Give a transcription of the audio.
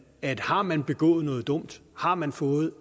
at har man begået noget dumt har man fået